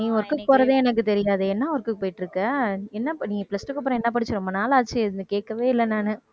நீ work போறதே எனக்குத் தெரியாதே. என்ன work க்கு போயிட்டு இருக்க என்னப்பா நீ plus two க்கு அப்புறம் என்ன படிச்சே ரொம்ப நாளாச்சு எதுன்னு கேட்கவே இல்லை நானு.